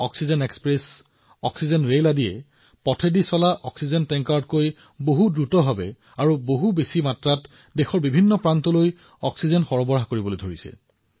oxygen express oxygen ৰেলে পথেৰে যোৱা অক্সিজেন টেংকাৰতকৈ দেশৰ সকলো কোণলৈ অধিক অক্সিজেন পৰিবহণ কৰিছে